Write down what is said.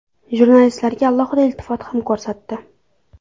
Jurnalistlarga alohida iltifot ham ko‘rsatdi.